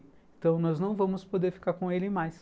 Então, nós não vamos poder ficar com ele mais.